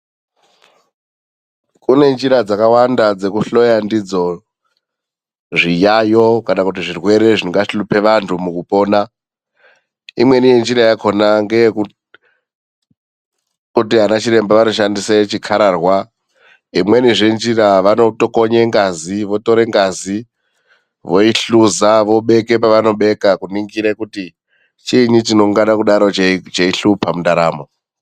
Kune njira dzakawanda dzekuhloya ndidzo zviyayo, kana kuti zvirwere zvingahlupa vanthu mukupona. Imweni yenjira yakhona ngeye kuti anachiremba vanoshandisa chikhararwa. Imwenizve njira vanotokonya kutore ngazi voihluza vobeke pavanobeka kuningira kuti chiinyi chinenge cheihlupa mundaramo.